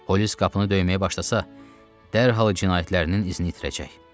Polis qapını döyməyə başlasa, dərhal cinayətlərinin izini itirəcək.